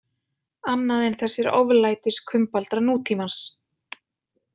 Annað en þessir oflætiskumbaldar nútímans.